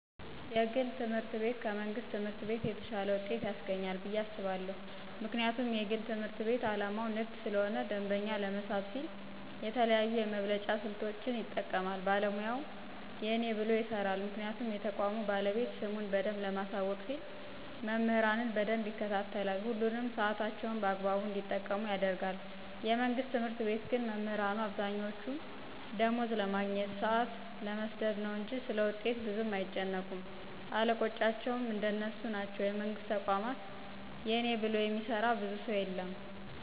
የግል ትምህርት ቤት ከመንግስት ትምህርት ቤት የተሻለ ውጤት ያስገኛል ብየ አስባለሁ። ምክንያቱም የግል ትምህርት ቤት አላማው ንግድ ስለሆነ ደንበኛ ለመሳብ ሲል የተለያዩ የመብለጫ ስልቶችን ይጠቀማል ባለሙያውም የእኔ ብሎ ይሰራል ምክንያቱም የተቋሙ ባለቤት ስሙን በደንብ ለማሳወቅ ሲል መምህራኑን በደንብ ይከታተላል፣ ሁሉንም ሳዕታቸውን በአግባቡ እንዲጠቀሙ ያደርጋል፤ የመንግስት ትምህርት ቤት ግን መምህራኑ አብዛኛወቹ ደማወዝ ለማግኘት፣ ሳአት ለመስደድ ነው እንጅ ስለውጤት ብዙም አይጨነቁም አለቆቻቸውም እንደነሱ ናቸው የመንግስትን ተቋማት የእኔ ብሎ የሚሰራ ብዙ ሰው የለም።